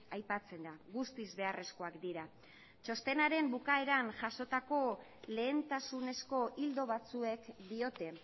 aipatzen da guztiz beharrezkoak dira txostenaren bukaeran jasotako lehentasunezko ildo batzuek diote